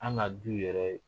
An ŋa du yɛrɛ